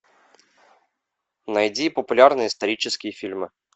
найди популярные исторические фильмы